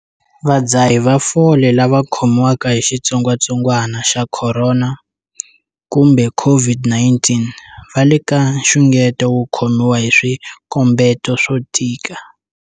Vadzahi va fole lava khomiwaka hi xitsongwantsongwana xa corona kumbe, COVID-19, va le ka nxungeto wo khomiwa hi swikombeto swo tika.